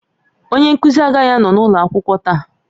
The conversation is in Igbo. Onye nkuzi agaghị anọ n'ụlọ akwụkwọ taa